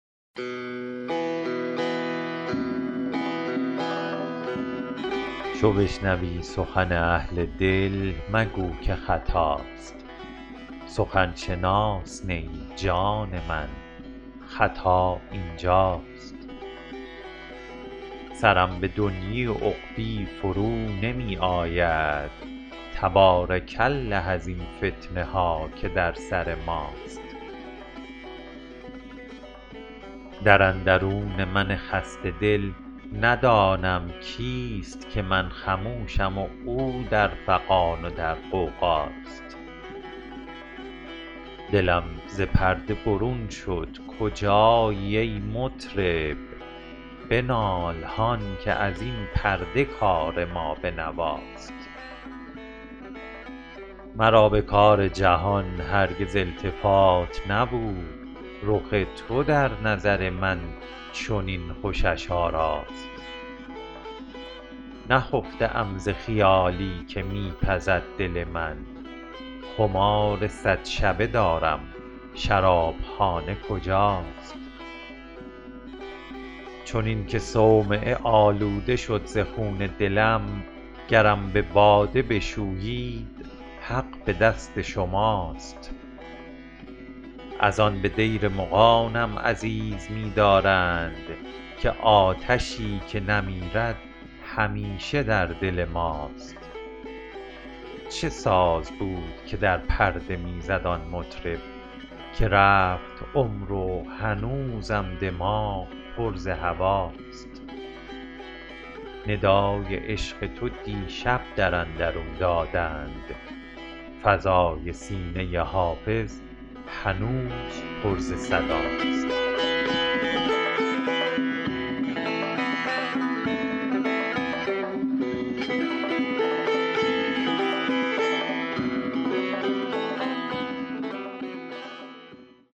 چو بشنوی سخن اهل دل مگو که خطاست سخن شناس نه ای جان من خطا این جاست سرم به دنیی و عقبی فرو نمی آید تبارک الله ازین فتنه ها که در سر ماست در اندرون من خسته دل ندانم کیست که من خموشم و او در فغان و در غوغاست دلم ز پرده برون شد کجایی ای مطرب بنال هان که از این پرده کار ما به نواست مرا به کار جهان هرگز التفات نبود رخ تو در نظر من چنین خوشش آراست نخفته ام ز خیالی که می پزد دل من خمار صد شبه دارم شراب خانه کجاست چنین که صومعه آلوده شد ز خون دلم گرم به باده بشویید حق به دست شماست از آن به دیر مغانم عزیز می دارند که آتشی که نمیرد همیشه در دل ماست چه ساز بود که در پرده می زد آن مطرب که رفت عمر و هنوزم دماغ پر ز هواست ندای عشق تو دیشب در اندرون دادند فضای سینه حافظ هنوز پر ز صداست